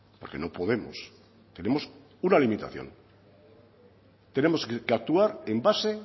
porque no podemos tenemos una limitación tenemos que actuar en base